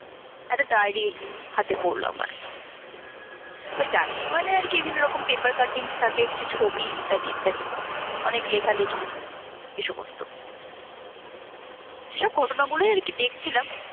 একটা diary হাতে পরলো আমার, ওই diary মানে আর কি বিভিন্ন রকম paper cuttings থাকে, কিছু ছবি ইত্যাদি ইত্যাদি অনেক লেখালেখি এই সমস্ত। সব ঘটনাগুলোই আর কি দেখছিলাম